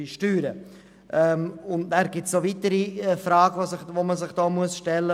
Zudem muss man sich hier noch weitere Fragen stellen.